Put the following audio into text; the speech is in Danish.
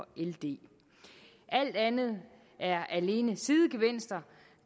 ld alt andet er alene sidegevinster